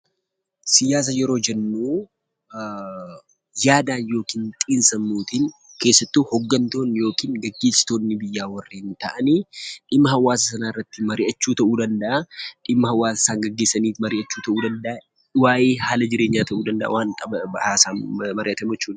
Siyaasa yeroo jennu yaadaan yookiin xiinsammuutiin keessattuu hoggantootni yookiin gaggeessitoonni biyyaa warreen ta'ani dhimma hawaasa sanaa irratti marii'achuu ta'uu danda'a. Dhimma hawaasa isaa gaggeessanii marii'achuu ta'uu danda'a. Waa'ee haala jireenyaa ta'uu danda'a, waan qaban haasaa marii'atamu jechuudha.